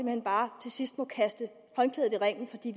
hen bare til sidst må kaste håndklædet i ringen fordi